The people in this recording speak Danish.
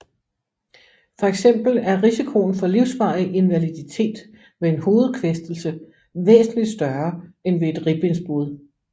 For eksempel er risikoen for livsvarig invaliditet ved en hovedkvæstelse væsentligt større end ved et ribbensbrud